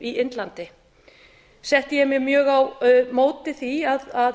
í indlandi setti ég mig mjög á móti því að